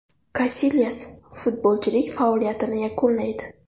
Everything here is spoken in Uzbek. Kasilyas futbolchilik faoliyatini yakunlaydi.